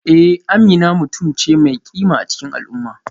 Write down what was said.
Eh Amina mutum ce mai kima a cikin al'umma